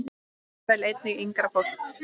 Og jafnvel einnig yngra fólki.